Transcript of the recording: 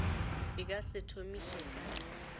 e ka se thomiše ka